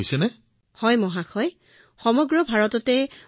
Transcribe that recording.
হয় মহোদয় সমগ্ৰ ভাৰততে মন কী বাত কাৰ্যসূচীৰ পৰা ইয়াক সকলোৱে জনা হৈছে